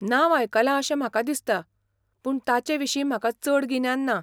नांव आयकलां अशें म्हाका दिसता, पूण ताचे विशीं म्हाका चड गिन्यान ना.